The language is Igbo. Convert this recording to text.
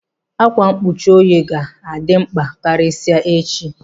Ákwá mkpuchi oyi ọ ga-dị mkpa karịsịa echi?